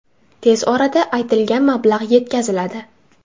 Tez orada aytilgan mablag‘ yetkaziladi.